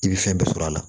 I bɛ fɛn bɛɛ sɔrɔ a la